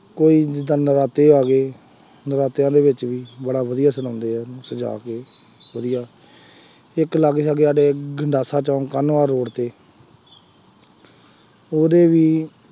ਕੋਈ ਵੀ ਜਿਦਾਂ ਨਰਾਤੇ ਆ ਗਏ, ਨਰਾਤਿਆਂ ਦੇ ਵਿੱਚ ਵੀ ਬੜਾ ਵਧੀਆ ਸਜਾਉਂਦੇ ਆ, ਸਜਾ ਕੇ, ਵਧੀਆ, ਇੱਕ ਲਾਗੇ ਸਾਗੇ ਸਾਡੇ ਗੰਡਾਸਾ ਚੌਂਕ ਕਾਹਨਵਾਲ ਰੋਡ ਤੇ ਉਹਦੇ ਵੀ